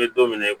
N bɛ don mina i ko